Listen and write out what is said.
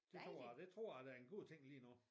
Det tror jeg det tror jeg da er en god ting lige nu